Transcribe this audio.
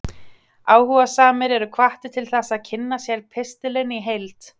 Áhugasamir eru hvattir til þess að kynna sér pistilinn í heild.